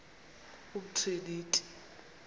umtriniti